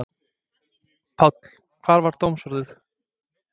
Páll, hvert var dómsorðið?